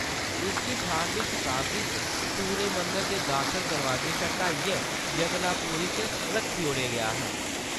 इसगी अठारहवीं शताब्दी च सूरज मंदर दे दाखल दरवाजा शा हटाईइयै जगन्नाथ पुरी च रक्खी ओड़ेआ गेआ हा।